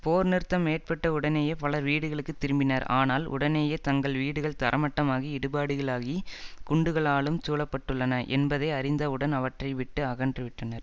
போர்நிறுத்தம் ஏற்பட்டவுடனேயே பலர் வீடுகளுக்குத் திரும்பினர் ஆனால் உடனேயே தங்கள் வீடுகள் தரமட்டமாகி இடிபாடுகளாகி குண்டுகளாலும் சூழப்பட்டுள்ளன என்பதை அறிந்தவுடன் அவற்றை விட்டு அகன்றுவிட்டனர்